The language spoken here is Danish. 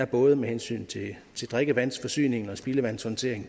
både med hensyn til drikkevandsforsyningen og spildevandshåndteringen